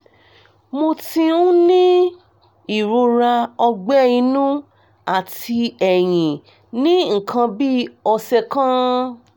mo ti ń ní ìrora ọ̀gbẹ́ inú àti ẹ̀yìn ní nǹkan bí ọ̀sẹ̀ kan